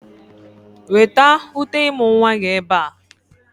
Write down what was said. Weta uté ịmụ̀ nwa gị ebe a!